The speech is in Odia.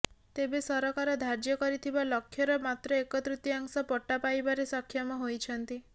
ତେବେ ସରକାର ଧାର୍ଯ୍ୟ କରିଥିବା ଲକ୍ଷ୍ୟର ମାତ୍ର ଏକତୃତୀୟାଂଶ ପଟ୍ଟା ପାଇବାରେ ସକ୍ଷମ ହୋଇଛନ୍ତି